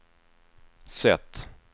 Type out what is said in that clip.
sätt